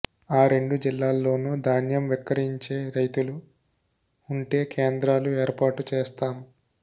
ఆ రెండు జిల్లాల్లోనూ ధాన్యం విక్రయించే రైతులు ఉంటే కేంద్రాలు ఏర్పాటు చేస్తాం